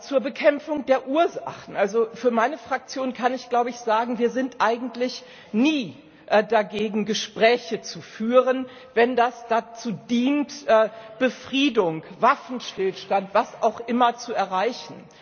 Zur Bekämpfung der Ursachen also für meine Fraktion kann ich sagen Wir sind eigentlich nie dagegen, Gespräche zu führen, wenn das dazu dient, Befriedung, Waffenstillstand, was auch immer zu erreichen.